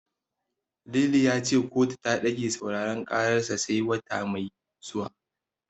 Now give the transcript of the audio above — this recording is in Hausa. Lili ya ce kotu ta ɗage sauraren karar sai wata mai zuwa.